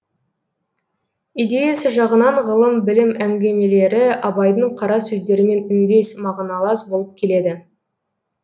идеясы жағынан ғылым білім әңгімелері абайдың қара сөздерімен үндес мағыналас болып келеді